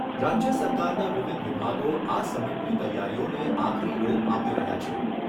રાજ્ય સરકારના વિવિધ વિભાગો આ સમિટની તૈયારીઓને આખરી ઓપ આપી રહ્યા છે.